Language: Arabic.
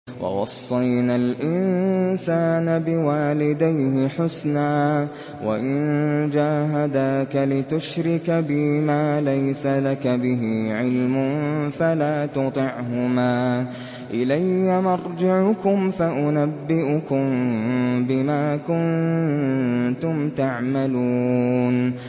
وَوَصَّيْنَا الْإِنسَانَ بِوَالِدَيْهِ حُسْنًا ۖ وَإِن جَاهَدَاكَ لِتُشْرِكَ بِي مَا لَيْسَ لَكَ بِهِ عِلْمٌ فَلَا تُطِعْهُمَا ۚ إِلَيَّ مَرْجِعُكُمْ فَأُنَبِّئُكُم بِمَا كُنتُمْ تَعْمَلُونَ